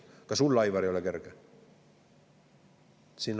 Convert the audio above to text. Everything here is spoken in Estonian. Ka sul, Aivar, ei ole kerge.